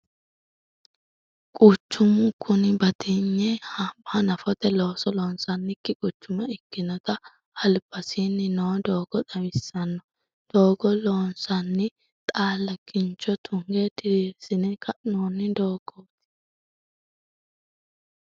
Quchumu kuni batinye hanafote looso loonsoonnikki quchuma ikkinota albasiinni noo doogo xawissanno. Doogo loonsann xaalla kincho tunge diriirsine ka'noonni doogooti.